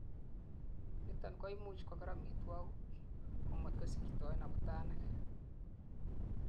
niton koimuch koger omitwogik komot kosirtoen abutanik